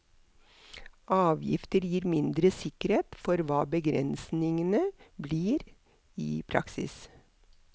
Avgifter gir mindre sikkerhet for hva begrensningene blir i praksis.